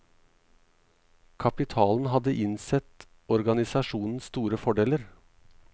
Kapitalen hadde innsett organisasjonens store fordeler.